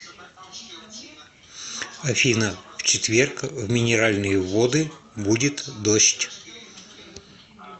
афина в четверг в минеральные воды будет дождь